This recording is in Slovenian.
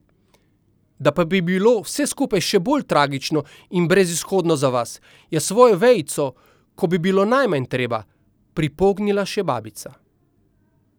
Da pa bi bilo vse skupaj še bolj tragično in brezizhodno za vas, je svojo vejico, ko bi bilo najmanj treba, pripognila še babica.